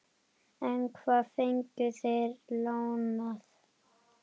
En hvað fengu þeir lánað?